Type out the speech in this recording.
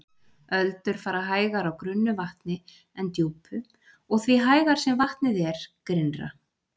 Öldur fara hægar á grunnu vatni en djúpu og því hægar sem vatnið er grynnra.